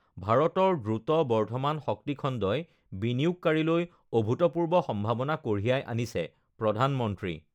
ভাৰতৰ দ্ৰুত বৰ্ধমান শক্তি খণ্ডই বিনিয়োগকাৰীলৈ অভূতপূৰ্ব সম্ভাৱনা কঢ়িয়াই আনিছেঃ প্ৰধানমন্ত্ৰী